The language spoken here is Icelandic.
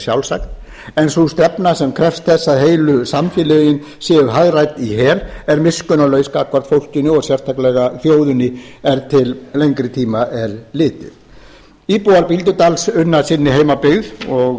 sjálfsagt en sú stefna sem krefst þess að heilu samfélögin séu hagræða í hel er miskunnarlaus gagnvart fólkinu og sérstaklega þjóðinni er til lengri tíma er litið íbúar bíldudals unna sinni heimabyggð og